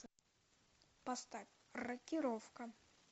поставь рокировка